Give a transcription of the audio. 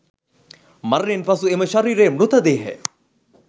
මරණයෙන් පසු එම ශරීරය මෘත දේහය